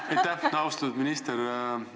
Aitäh, austatud istungi juhataja!